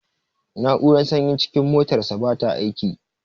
Na'urar sanyin cikin motarsa bata aiki.